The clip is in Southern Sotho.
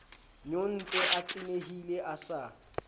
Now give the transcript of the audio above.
nyontse a tenehile a sa